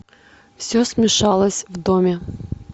все смешалось в доме